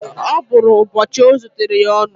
Ọ bụrụ ụbọchị ọ zutere ya ọnụ